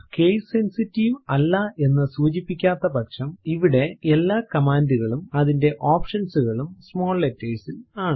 case sensitive അല്ല എന്ന് സൂചിപ്പിക്കാത്ത പക്ഷം ഇവിടെ എല്ലാ കമാൻഡ് കളും അതിന്റെ ഓപ്ഷൻസ് കളും സ്മോൾ ലെറ്റേർസ് ൽ ആണ്